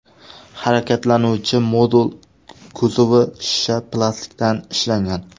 Harakatlanuvchi modul kuzovi shisha plastikdan ishlangan.